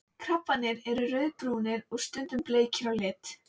Krabbarnir eru rauðbrúnir og stundum bleikir á lit.